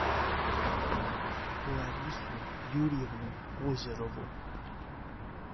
ларису юрьевну озерову